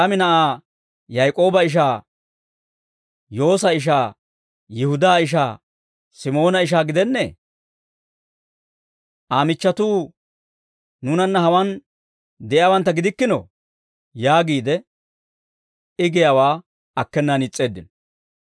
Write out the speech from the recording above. Hawe anaas'iyaa gidennee? Mayraami na'aa, Yaak'ooba ishaa, Yoosa ishaa, Yihudaa ishaa, Simoona ishaa gidennee? Aa michchatuu nuunanna hawaan de'iyaawantta gidikkinoo?» yaagiide, I giyaawaa akkenaan is's'eeddino.